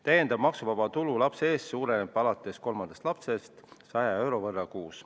Täiendav maksuvaba tulu lapse eest suureneb alates kolmandast lapsest 100 euro võrra kuus.